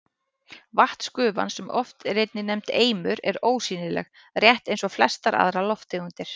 Vatnsgufan, sem oft er einnig nefnd eimur, er ósýnileg, rétt eins og flestar aðrar lofttegundir.